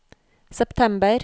september